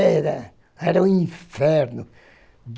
Era era um inferno.